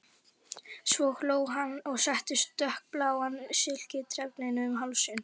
Svo hló hann og setti dökkbláan silkitrefilinn um hálsinn.